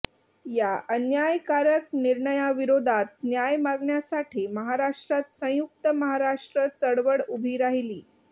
या अन्यायकारक निर्णयाविरोधात न्याय मागण्यासाठी महाराष्ट्रात संयुक्त महाराष्ट्र चळवळ उभी राहिली